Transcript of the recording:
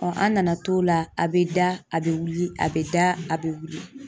an nana to la, a bɛ da, a bɛ wili, a bɛ da a bɛ wili .